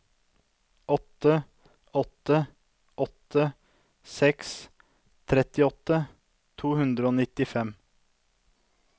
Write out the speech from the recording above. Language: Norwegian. åtte åtte åtte seks trettiåtte to hundre og nittifem